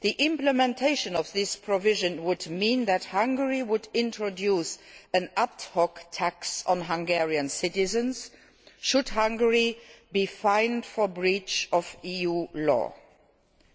The implementation of this provision would mean that Hungary would introduce an ad hoc tax on Hungarian citizens should Hungary be fined for breach of EU law.